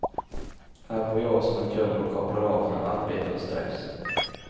Här bor jag som en kung och kopplar av från arbete och stress.